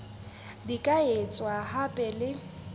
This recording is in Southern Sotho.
di ka etswa hape le